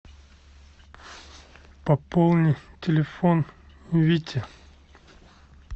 пополни телефон вити